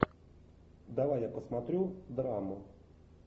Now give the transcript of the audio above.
давай я посмотрю драму